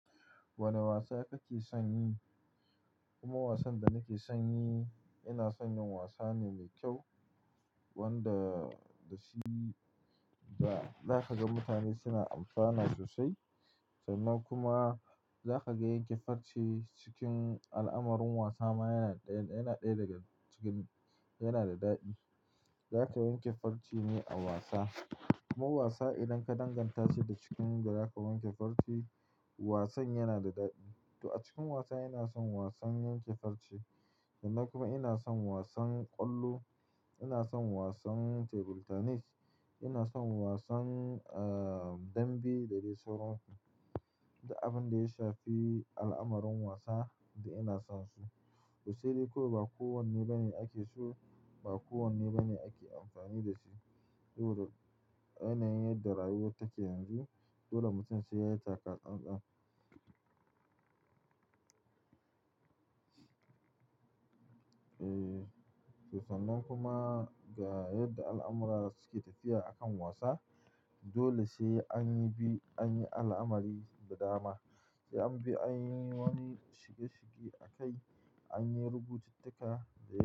Wane wasa kake son yi? Kuma wasan da nake son yi, ina son yin wasa ne mai kyau wanda da shi za ka ga mutane suna amfana sosai. Sannan kuma za ka ga yanke farci cikin al'amarrin wasa ma yana ɗaya, yana ɗaya daga cikin, yana da daɗi. Za ka yanke farci ne a wasa. Kuma wasa idan ka danganta shi da cikin da za ka wanke farce. Wasan yana da daɗi. To a cikin wasa ina son wasan yanke farce sannan kuma ina son wasan ƙwallo, ina son wasan table tennis, ina son wasan, ah, dambe da dai sauransu. Da abin da ya shafi al'amarrin wasa da ina sonsu, ku sani ko ba kowanne bane ake so, ba kowanne bane ake amfani da shi. Saboda yana yin darraguwa ta ke yanzu, dole mutum sai ya taka tsantsan. Eh, to sannan kuma ga yadda al'amura suke tafiya a kan wasa, dole sai anyi bi, anyi al'amari da dama. Sai an bi anyi wani shige shige a kai, anyi rubutattuka da.